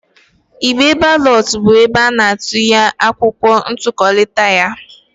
Igbe balọt bụ ebe ana-atụnye akwụkwọ ntuliaka ya.